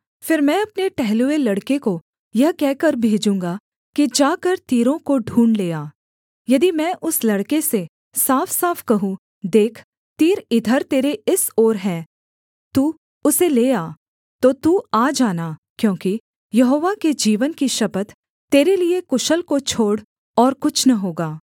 फिर मैं अपने टहलुए लड़के को यह कहकर भेजूँगा कि जाकर तीरों को ढूँढ़ ले आ यदि मैं उस लड़के से साफसाफ कहूँ देख तीर इधर तेरे इस ओर हैं तू उसे ले आ तो तू आ जाना क्योंकि यहोवा के जीवन की शपथ तेरे लिये कुशल को छोड़ और कुछ न होगा